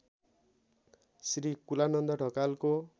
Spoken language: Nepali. श्री कुलानन्द ढकालको